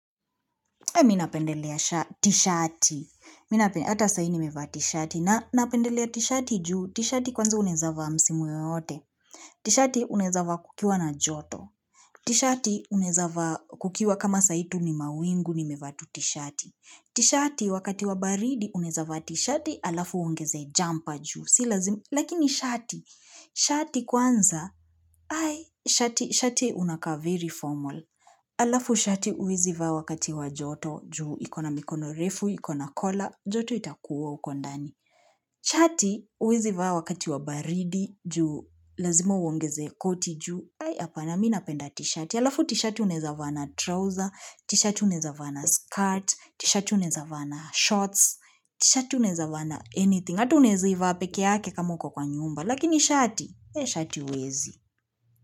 Mimi napendelea tishati, ata saa hii nimeva tishati na napendelea tishati juu tishati kwanza unaweza vaa msimu yoyote, tishati unaweza vaa kukiwa na joto, tishati unaweza vaa kukiwa kama saa hii tu ni mawingu nimeva tu tishati, tishati wakati wa baridi unaweza vaa tishati alafu uongeze jumper juu, si lazima, lakini shati, shati kwanza, shati, shati unakaa very formal, alafu shati huwezi vaa wakati wa joto juu, iko na mikono refu, ikona kola joto itakuua huko ndani shati huwezi vaa wakati wa baridi juu lazima uongeze koti juu apana mimi napenda tshati alafu tshati unaweza vaa na trouser t-shati unaweza vaa na skirt t-shati unaweza vaa na shorts t-shati unaweza vaa na anything hata unaweza ivaa pekeake kama uko kwa nyumba lakini shati, shati hauwezi.